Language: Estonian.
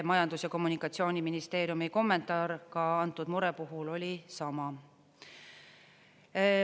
Majandus- ja Kommunikatsiooniministeeriumi kommentaar ka antud mure puhul oli sama.